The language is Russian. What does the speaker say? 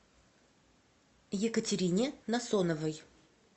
екатерине насоновой